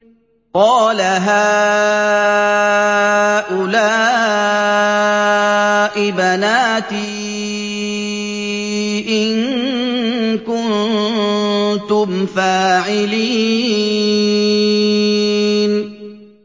قَالَ هَٰؤُلَاءِ بَنَاتِي إِن كُنتُمْ فَاعِلِينَ